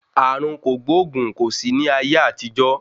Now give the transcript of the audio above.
Ààrùn kògbóògùn kò sí ní ayé àtijọ́.